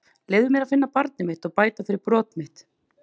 Leyfðu mér að finna barnið mitt og bæta fyrir brot mitt.